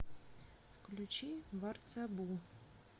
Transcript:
включи варцабу